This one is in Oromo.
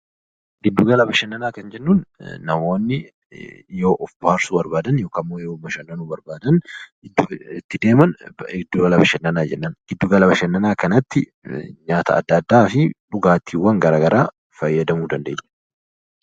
Giddugala bashannanaa kan jennuun namoonni yoo of bohaarsuu barbaadan yookaan immoo yoo bashannanuu barbaadan iddoon itti deeman 'Giddugala bashannanaa' jennaan. Giddugala bashannanaa kanatti nyaata addaa addaa fi dhugaatiiwwan gara garaa fayyadamuu dandeenya.